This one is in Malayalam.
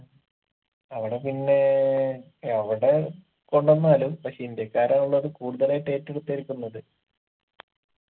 അവിടെ പിന്നെ എവിടെ കൊണ്ടന്നാലും പക്ഷെ ഇന്ത്യക്കാരാണല്ലോ അത് കൂടുതലായിട്ട് ഏറ്റെടുത്തിരിക്കുന്നത്